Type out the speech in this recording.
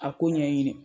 A ko ɲɛɲini